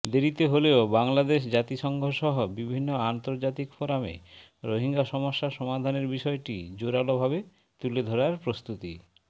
দেরিতে হলেও বাংলাদেশ জাতিসংঘসহ বিভিন্ন আন্তর্জাতিক ফোরামে রোহিঙ্গা সমস্যা সমাধানের বিষয়টি জোরালোভাবে তুলে ধরার প্রস্তুতি